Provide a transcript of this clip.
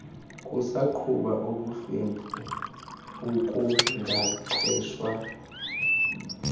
kusagquba ubuhlwempu ukungaqeshwa